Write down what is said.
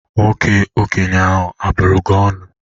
Nwoke okenye ahụ abụrụ gị ọnụ?